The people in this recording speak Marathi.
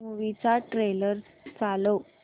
मूवी चा ट्रेलर चालव